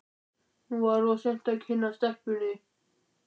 Nú var of seint að kynnast stelpunni.